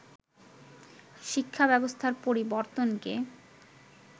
শিক্ষা ব্যবস্থার পরিবর্তনকে